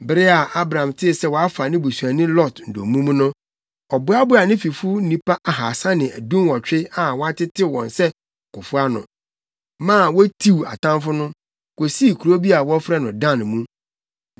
Bere a Abram tee sɛ wɔafa ne busuani Lot dommum no, ɔboaboaa ne fifo nnipa ahaasa ne dunwɔtwe a wɔatetew wɔn sɛ akofo ano, maa wotiw atamfo no, kosii kurow bi a wɔfrɛ no Dan mu.